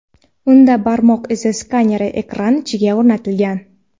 Unda barmoq izi skaneri ekran ichiga o‘rnatilgan.